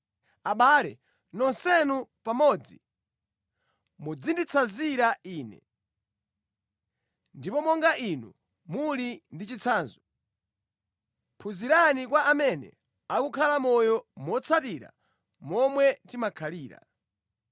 Abale, nonsenu pamodzi mudzinditsanzira ine, ndipo monga inu muli ndi chitsanzo, phunzirani kwa amene akukhala moyo motsatira momwe timakhalira.